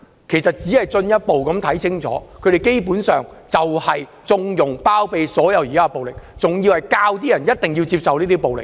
其實公眾可以進一步看清楚，他們根本就是要縱容及包庇所有暴力行為，還要教人接受這些暴力。